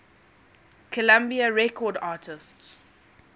columbia records artists